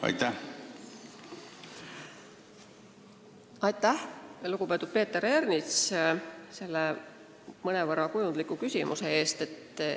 Aitäh, lugupeetud Peeter Ernits, selle mõnevõrra kujundliku küsimuse eest!